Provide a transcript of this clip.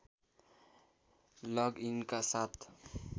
लग इनका साथ